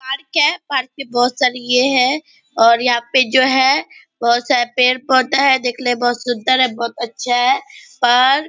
park है park में बहुत सार ये है और यहाँ पे जो है बहुत सारे पेड़ पोधे हैं देखने में बहुत सुंदर है बहुत अच्छा है पार्क --